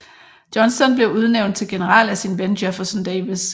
Johnston blev udnævnt til general af sin ven Jefferson Davis